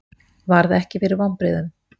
Varð ekki fyrir vonbrigðum